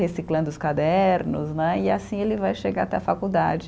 Reciclando os cadernos né, e assim ele vai chegar até a faculdade.